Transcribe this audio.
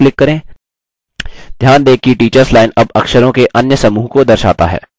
ध्यान दें कि teachers line अब अक्षरों के अन्य समूह को दर्शाता है